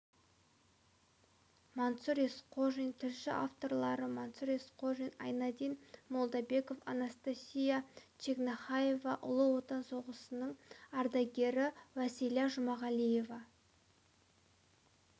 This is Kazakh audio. мансұр есқожин тілші авторлары мансұр есқожин айнадин молдабеков анастасия чегнахаева ұлы отан соғысының ардагері уәсила жұмағалиева